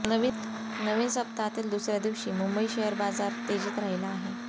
नवीन सप्तहातील दुसऱया दिवशी मुंबई शेअर बाजार तेजीत राहिला आहे